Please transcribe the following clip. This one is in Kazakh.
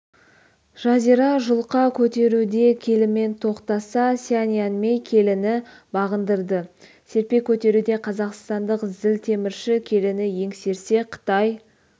жазира жұлқа көтеруде келімен тоқтаса сян янмей келіні бағындырды серпе көтеруде қазақстандық зілтемірші келіні еңсерсе қытай